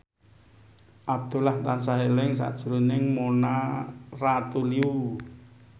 Abdullah tansah eling sakjroning Mona Ratuliu